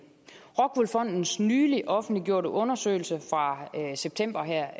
rockwool fondens nylig offentliggjorte undersøgelse fra september her